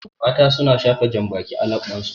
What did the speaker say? Mata su na shafa janbaki a laɓɓan su